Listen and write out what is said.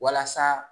Walasa